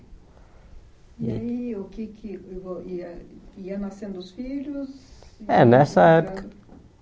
E aí, o que é que ia... Iam nascendo os filhos? É nessa época